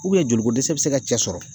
joliko dɛsɛ bɛ se ka cɛ sɔrɔ.